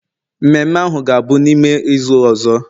Mmemme ahu ga-abụ n'ime izu ọzọ